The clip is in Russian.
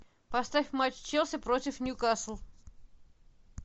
поставь матч челси против ньюкасл